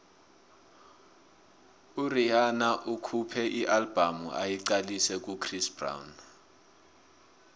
urhihana ukhuphe ialbum ayiqalise kuchris brown